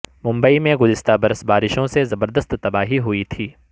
ممبئی میں گزشتہ برس بارشوں سے زبردست تباہی ہوئی تھی